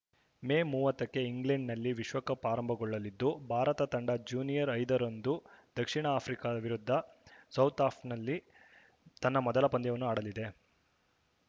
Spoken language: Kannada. ಮೇ ಮೂವತ್ತಕ್ಕೆ ಇಂಗ್ಲೆಂಡ್‌ನಲ್ಲಿ ವಿಶ್ವಕಪ್‌ ಆರಂಭಗೊಳ್ಳಲಿದ್ದು ಭಾರತ ತಂಡ ಜೂನಿಯರ್ ಐದರಂದು ದಕ್ಷಿಣ ಆಫ್ರಿಕಾ ವಿರುದ್ಧ ಸೌಥಾಂಪ್ಟನ್‌ನಲ್ಲಿ ತನ್ನ ಮೊದಲ ಪಂದ್ಯವನ್ನು ಆಡಲಿದೆ